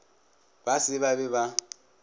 ba se ba be ba